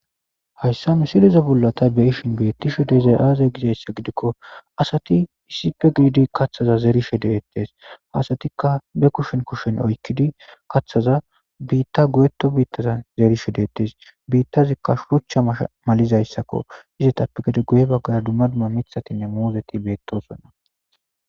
Hayssa mi sileze bolla ta beishin beettishu deyizay aaze gizayssa gidikko asati isipe giiidi kathaza zerishe deettees asatikka be kushen kushen oykkidi kaththaza biitta goyeto biittaza zeerishe dettes biittazikka shurucha malizayssakko izetappe gede guye baggara dumma dumma mithatinne moozeti beettosonna